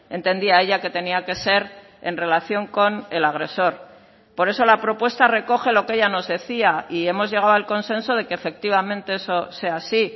entendía ella que tenía que ser en relación con el agresor por eso la propuesta recoge lo que ella nos decía y hemos llegado al consenso de que efectivamente eso sea así